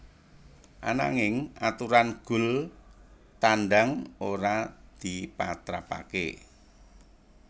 Ananging aturan gol tandang ora dipatrapaké